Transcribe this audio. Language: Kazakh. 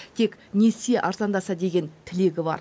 тек несие арзандаса екен деген тілегі бар